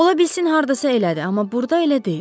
Ola bilsin hardasa elədir, amma burda elə deyil.